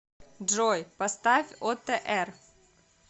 джой поставь отр